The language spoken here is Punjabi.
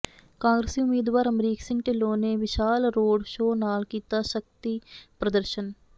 ਕਾਂਗਰਸੀ ਉਮੀਦਵਾਰ ਅਮਰੀਕ ਸਿੰਘ ਢਿੱਲੋਂ ਨੇ ਵਿਸ਼ਾਲ ਰੋਡ ਸ਼ੋਅ ਨਾਲ ਕੀਤਾ ਸ਼ਕਤੀ ਪ੍ਰਦਰਸ਼ਨ